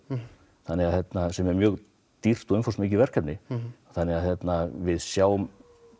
sem er mjög dýrt og umfangsmikið verkefni þannig að við sjáum